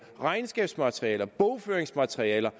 regnskabsmaterialer og bogføringsmaterialer